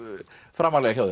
framarlega hjá